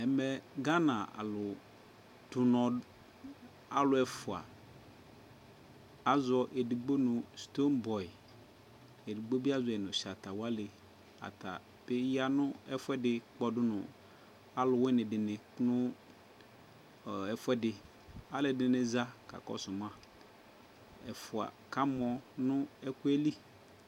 Ɛmɛ, Gana alʋ tɛ ʋnɔ alʋ ɛfʋa, azɔ edigbo nʋ Stonbɔy, edigbo bι azɔ yι nʋ Shatawalι ata pe ya nʋ ɛfʋɛdι kpɔdʋ nʋ alʋwιnι dιnι nʋ ɛfʋ ɛdι Alʋ ɛdιnι za kaa kɔsʋ ma, ɛfua kamɔ nɔ ɛkʋ yɛ li